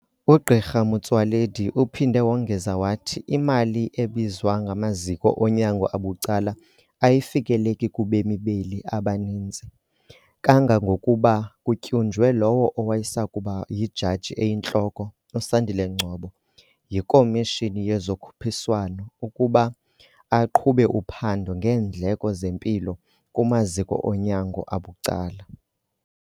UGq Motsoaledi uphinde wongeza wathi imali ebizwa ngamaziko onyango abucala ayifikeleki kubemi beli abaninzi, kangangokuba kutyunjwe lowo wayesakuba yiJaji eyiNtloko uSandile Ngcobo yiKomishini yezoKhuphiswano ukuba aqhube uphando ngeendleko zempilo kumaziko onyango abucala.